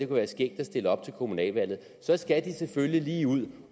være skægt at stille op til kommunalvalget så skal de selvfølgelig lige ud